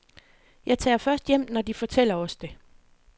Jeg tager først hjem, når de fortæller os det.